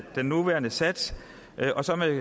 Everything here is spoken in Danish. den nuværende sats og